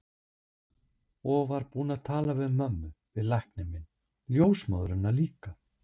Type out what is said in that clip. Og var búin að tala við mömmu, við lækninn minn, ljósmóðurina líka.